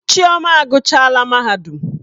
Chioma aguchaala mahadum.